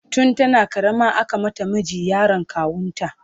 tun tana karama aka mata miji, yaron kawunta